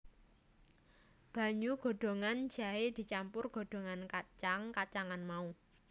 Banyu godhogan jahé dicampur godhogan kacang kacangan mau